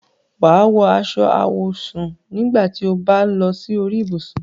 Wà á wọ aṣọ àwọ̀sùn nígbà tí o bá ń lọ sí orí ibùsùn.